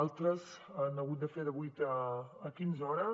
altres han hagut de fer de vuit a quinze hores